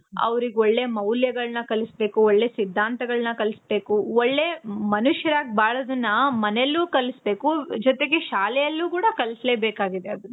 ಅವ್ರ್ಗ್ ಒಳ್ಳೇ ಮೌಲ್ಯಗಳನ್ನ ಕಲಿಸ್ಬೇಕು. ಒಳ್ಳೇ ಸಿದ್ದಾಂತಗಳನ್ನ ಕಲಿಸ್ಬೇಕು. ಒಳ್ಳೇ ಮನುಷ್ಯರಾಗಿ ಬಾಳೋದುನ್ನ ಮನೆಲ್ಲು ಕಲಿಸ್ಬೇಕು. ಜೊತೆಗೆ ಶಾಲೆಯಲ್ಲು ಕೂಡ ಕಲಿಸ್ಬೇಕಾಗಿದೆ ಅದು.